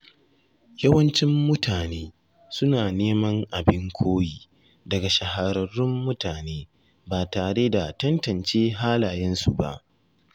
Yawancin mutane suna neman abin koyi daga shahararrun mutane, ba tare da tantance halayensu ba.